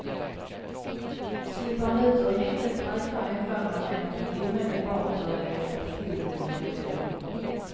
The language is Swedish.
Slipper han ut ur häktet räknar åklagaren med att han omedelbart börjar hjälpa till med nya självmord.